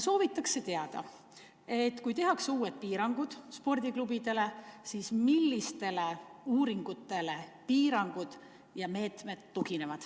Soovitakse teada, et kui kehtestatakse uued piirangud spordiklubidele, siis millistele uuringutele need piirangud tuginevad.